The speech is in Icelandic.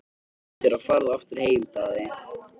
Svei þér og farðu aftur heim, Daði!